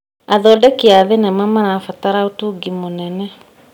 Athondeki a thenema marabatara ũtungi mũnene.